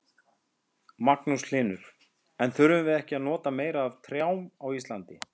Magnús Hlynur: En þyrftum við ekki að nota meira af trjám á Íslandi?